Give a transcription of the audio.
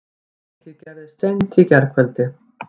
Atvikið gerðist í seint í gærkvöldi